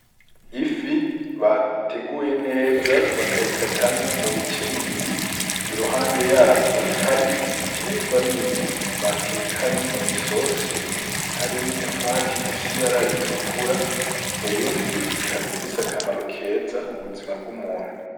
Ifi bateguye neza bakayikatamwo mu bice bibiri iruhande yavyo hari ibiterwa bindi batekanye mw'isose harimwo i tomati difsi bararitukura ya yofi ikabifise akamaro keza mu buzima bw'umuntu.